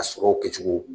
A sɔrɔw kɛcogo